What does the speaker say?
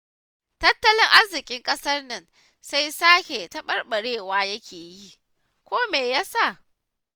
Tattalin arzikin ƙasar nan sai sake taɓarɓarewa yake yi, ko me ya sa?